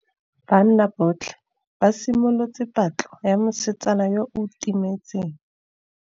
Banna botlhê ba simolotse patlô ya mosetsana yo o timetseng.